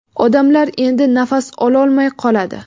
odamlar endi nafas ololmay qoladi.